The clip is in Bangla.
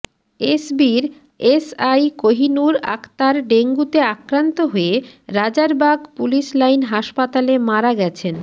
এসবির এসআই কোহিনুর আক্তার ডেঙ্গুতে আক্রান্ত হয়ে রাজারবাগ পুলিশ লাইন হাসপাতালে মারা গেছেন